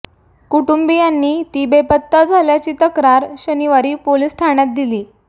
कुटुंबीयांनी ती बेपत्ता झाल्याची तक्रार शनिवारी पोलीस ठाण्यात दिली